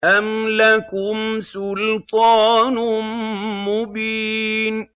أَمْ لَكُمْ سُلْطَانٌ مُّبِينٌ